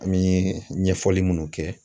An bɛ ɲɛfɔli minnu kɛ